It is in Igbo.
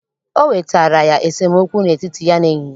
O wetaara ya esemookwu n'etiti ya na enyi ya